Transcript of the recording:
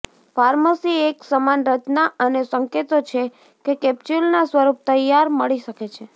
pharmacy એક સમાન રચના અને સંકેતો છે કે કેપ્સ્યુલના સ્વરૂપ તૈયાર મળી શકે છે